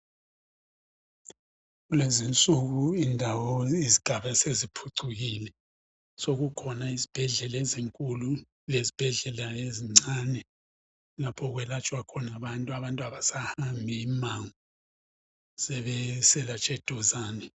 Kulezinsuku indawo izigaba seziphucukile, sokukhona uizibhedlela ezinkulu lezibhedlela ezincane lapho okwelatshwa khona abantu abasahambi imangoo sebeselatshwa eduzane.